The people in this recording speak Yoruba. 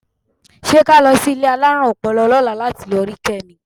Ṣé ká lọ sí ilé alárùn ọpọlọ lọ́la láti lọ rí Kẹ́mi?